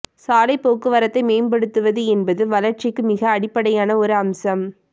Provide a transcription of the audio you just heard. சாலை போக்குவரத்தை மேம்படுத்துவது என்பது வளர்ச்சிக்கு மிக அடிப்படையான ஒரு அம்சம்